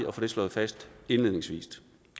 at få det slået fast indledningsvis